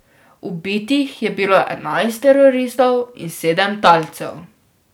Ubitih je bilo enajst teroristov in sedem talcev.